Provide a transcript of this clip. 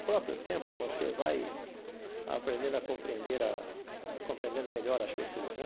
O próprio tempo você vai aprendendo a compreender a compreendendo melhor as pessoas, né?